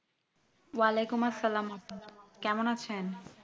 ওয়ালাইকুমআসসালাম আপা কেমন আছেন?